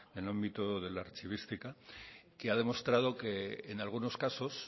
en el ámbito del archivística que ha demostrado que en algunos casos